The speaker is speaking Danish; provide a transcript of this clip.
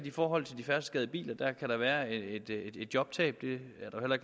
i forhold til de færdselsskadede biler kan være et jobtab det